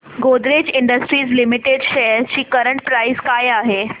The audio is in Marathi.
गोदरेज इंडस्ट्रीज लिमिटेड शेअर्स ची करंट प्राइस काय आहे